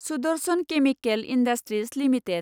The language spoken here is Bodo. Sudarshan chemical industries limited